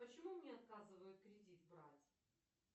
почему мне отказывают кредит брать